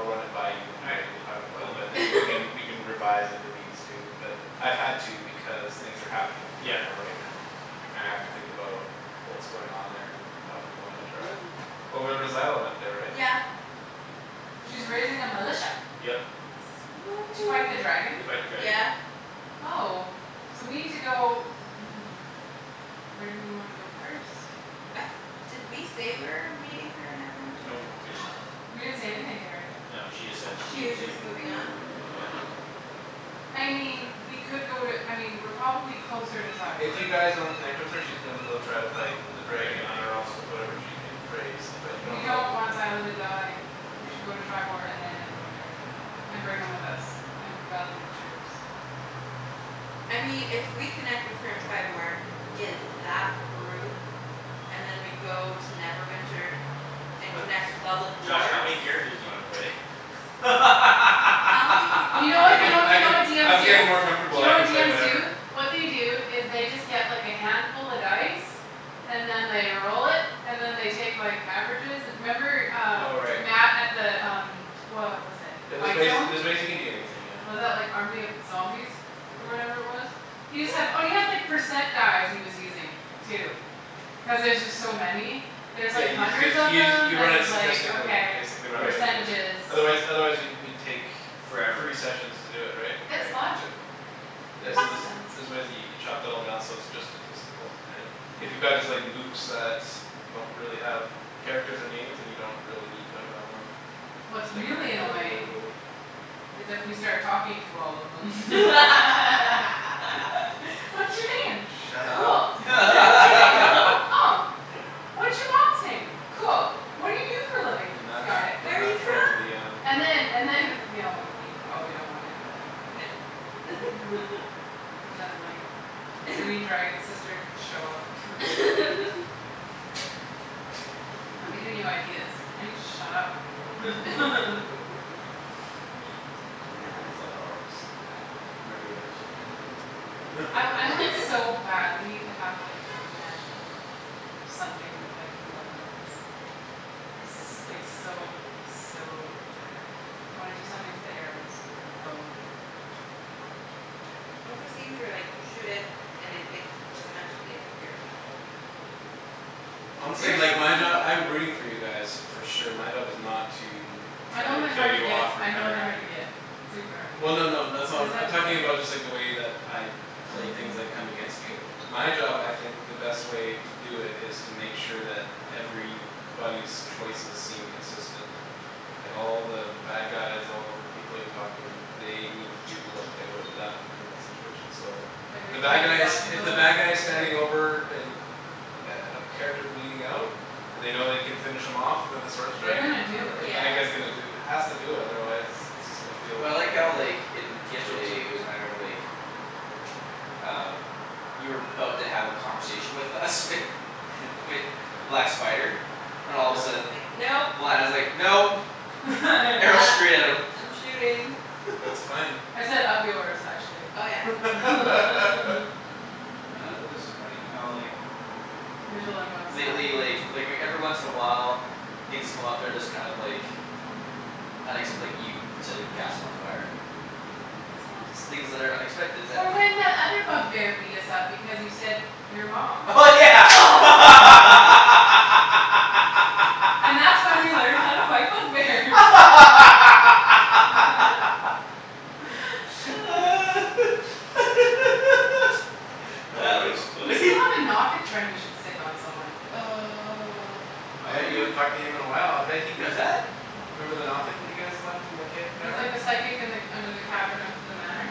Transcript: run it by you When All you're right ready to talk about cool it man. but then we can We can revise if it needs to but I've had to because things are happening In Yeah Triboar right now, and I have to think about What's going on there and how people might interact. Well remember Zyla went there right? Yeah Oh She's raising a militia. yeah Yep To fight the dragon? To fight the Sweet dragon. yeah Oh. So we need to go Where do we wanna go first? Uh did we say we're meeting her in Neverwinter or Nope no? we did not We didn't say anything to her. No, she just said she She needed to was leave. just moving on? Yeah I mean we could go to I mean we're probably closer to If Triboar. you guys don't connect with her she's gonna go try to fight The The dragon dragon on her anyways own with yeah. whatever she can raise. But you don't We know don't want Zyla to die. We should go to Triboar and then Neverwinter, and bring them with us, and rally the troops. I mean if we connect with her in Triboar, get that group And then we go to Neverwinter And connect with all the Josh how dwarves many characters do you wanna play? How many people You do know we I what you can need know you I to know what bring can into DMs I'm do? getting more this? Do comfortable you know I can what play DMs do? whatever What they do is they just get like a handful of dice. And then they roll it, and then they take like averages and 'member Oh um right. Matt at the um What was it Yeah there's ways Whitestone? there's ways you can do anything yeah. Was that like army of zombies? Or Mhm whatever it was? He just had oh and he had percent dice he was using too. Cuz there's just so many There's Yeah like you hundreds just of use them you you then run it he's like statistically okay basically rather Right than individual Percentages. Otherwise otherwise we'd we'd take Forever. Three sessions to do it right? It's Right. logical though I mean Yeah makes so Mhm there's sense. there's ways you you chop that all down so it's just statistical and If you Yeah got just like Lukes that Don't really have characters or names then you don't really need to run them Like What's really annoying ability is if we start talking to all of them. What's your name? Shut Cool. up don't give What's your them any name? id- Oh What's your mom's name? Cool. What do you do for a living? Do not Got it. do Where're you not troll the from? DM And then and then no we probably don't wanna do that. No Cuz then like Green dragon's sister could show up I'm giving you ideas. I need to shut up Oh Yeah man that's not how it works. I I want so badly to have like a magical Something that I can weaponize. I'm s- No like so so bad I wanna do something to the arrows or the bow. I want those things where like you shoot it and I like just magically appear back. Honestly There's like my job something I'm rooting for you guys. For sure my job is not to My Try know to they're kill hard to you get off or I know they're counteract hard to you get Super hard to Well no no that's get. Cuz not then I'm talking about it's like just the way that I play things that come against Oh you My job I think the best way To do it is to make sure that Everybody's choices seem consistent Like all the bad guys all the people you talk to They need to do what they would've done In that situation so The Everything's bad gotta be guys if logical the bad guys in Standing character? over an A a character bleeding out And they know they can finish him off With a sword They're strike gonna do the it. Yeah bad guy's gonna do Has to do that otherwise It's just gonna feel Well I like how like Yeah in feel yesterday it cheap was a matter of like Um You were 'bout to have a conversation with us with With the black spider and all of And a then he's sudden Yeah like, "Nope." when I was like, "Nope", arrow Uh straight at him I'm shooting. That's fine I said, "Up yours", actually, Oh yeah Oh it was just funny how like Mijolin Webb style. Lately like like everyone once in a while Things come up they're just kind of like Unexp- like you setting the castle on fire. That was fun Things that are unexpected that Or when that other bug bear beat us up because you said, "Your mom." Oh yeah And that's when we learned how to fight bug bears That was a That good was one. We funny. still have a Nothic friend we should sic on someone. Oh Uh yeah you who? haven't talked to him in a while I bet he Who's got that? Remember the Nothic that you guys left in the ca- He's like cavern? the psychic and like under the cavern of the manor.